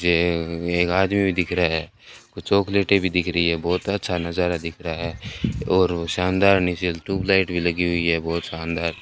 ये एक आदमी भी दिख रहा है कुछ चॉकलेटे भी दिख रही है बहोत अच्छा नजारा दिख रहा है और शानदार नीचे ट्यूबलाइट भी लगी हुई है बहोत शानदार।